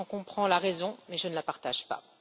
J'en comprends la raison, mais je ne la partage pas.